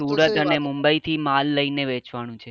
તો સુરત અને મુંબઈ થી લામ લઈને વેચવાનો છે.